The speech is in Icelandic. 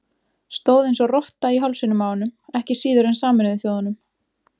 Stóð eins og rotta í hálsinum á honum, ekki síður en Sameinuðu þjóðunum.